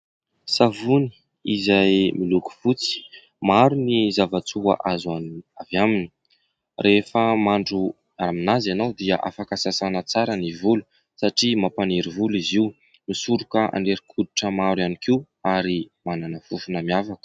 Savony izay miloko fotsy. Maro ny zava-tsoa azo avy aminy. Rehefa mandro aminazy ianao dia afaka sasana tsara ny volo satria mampaniry volo izy io. Misoroka aretin-koditra maro ihany koa ary manana fofona miavaka.